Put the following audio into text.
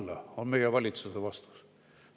" Selline on meie valitsuse vastus.